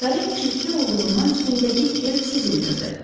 Karet çirkli olduğundan üstündəki gerb sezilmirdi.